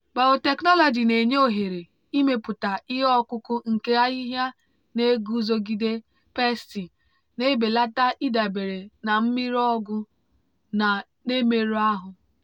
biotechnology na-enye ohere ịmepụta ihe ọkụkụ nke ahịhịa na-eguzogide pesti na-ebelata ịdabere na mmiri ọgwụ na-emerụ ahụ.